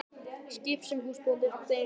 Skip sem húsbóndinn átti einu sinni.